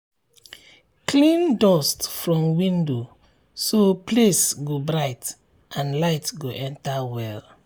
clean dust from window so place go bright and light go enter well.